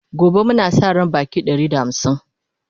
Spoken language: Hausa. gobe Muna Sa ran Baƙi Ɗari da hamsin